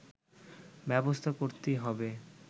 ব্যবস্থা করতেই হবে